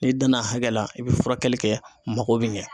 N'i danna hakɛ la, i bɛ furakɛli kɛ mako bɛ ɲɛ.